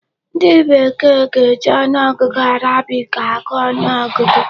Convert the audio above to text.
Ndị bekee ga-eji ọnụọgụ Arabic agụ ọgụgụ.